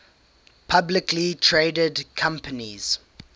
publicly traded companies